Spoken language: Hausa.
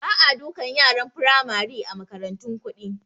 Ba a dukan yaran Firamari a makarantun kuɗi